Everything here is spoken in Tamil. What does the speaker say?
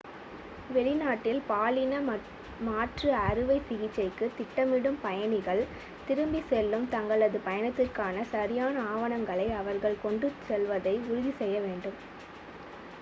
வெளிநாட்டில் பாலின மாற்று அறுவைசிகிச்சைக்கு திட்டமிடும் பயணிகள் திரும்பிச் செல்லும் தங்களது பயணத்திற்கான சரியான ஆவணங்களை அவர்கள் கொண்டுச் செல்வதை உறுதி செய்ய வேண்டும்